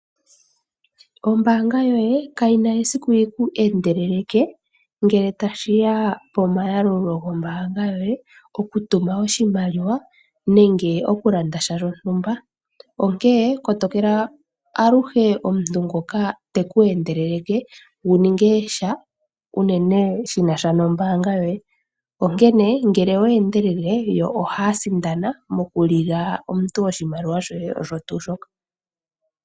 Oombaanga yoye kayina esiku yiku endeleleke ngele tashiya pomayalulo gombaanga yoye okutuma oshimaliwa nenge okulanda sha shontumba. Onkene kotokela aluhe omuntu ngoka teku endeleleke wuninge sha unene shinasha nombaanga yoye . Onkene ngele owa endelele yo ohaya sindana mokulila omuntu oshimaliwa shoye osho tuu shoka.